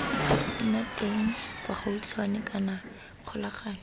nna teng bogautshwane kana kgolagano